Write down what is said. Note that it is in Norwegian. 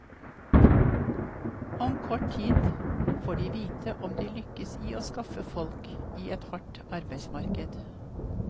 Om kort tid får de vite om de lykkes i å skaffe folk i et hardt arbeidsmarked.